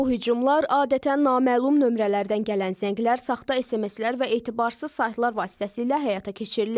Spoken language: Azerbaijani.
Bu hücumlar adətən naməlum nömrələrdən gələn zənglər, saxta SMS-lər və etibarsız saytlar vasitəsilə həyata keçirilir.